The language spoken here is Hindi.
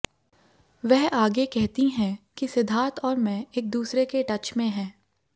वह आगे कहती हैं कि सिद्धार्थ और मैं एक दूसरे के टच में हैं